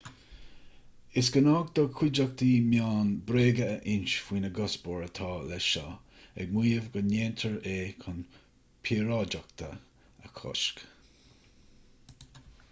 is gnách do na cuideachtaí meán bréaga a insint faoin gcuspóir atá leis seo ag maíomh go ndéantar é chun píoráideacht a chosc